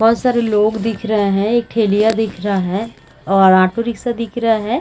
बहोत सारे लोग दिख रहे है एक ठेलिया दिख रहा है और ऑटो रिक्शा दिख रहा है ।